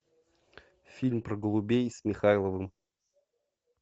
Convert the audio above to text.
фильм про голубей с михайловым